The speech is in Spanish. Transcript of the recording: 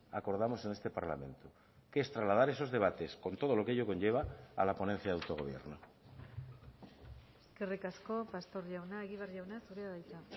acordamos en este parlamento que es trasladar esos debates con todo lo que ello conlleva a la ponencia de autogobierno eskerrik asko pastor jauna egibar jauna zurea da hitza